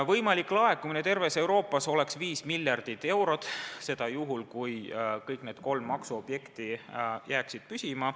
Võimalik laekumine terves Euroopas oleks 5 miljardit eurot – seda juhul, kui kõik need kolm maksuobjekti jääksid püsima.